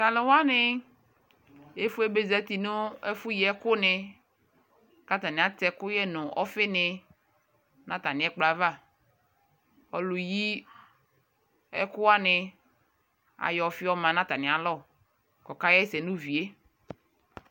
Talu wane efue be zati no ɛfo yi ɛku ne ka atane atɛ ɛkuyɛ no ɔfe ne na atane ɛkplɔ avaƆlu yi ɛku wane ayɔ ɔfe ɔma no atane alɔ ko ka hɛsɛ no uvie